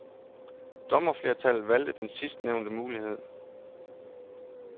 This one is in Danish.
Dommerflertallet valgte den sidstnævnte mulighed.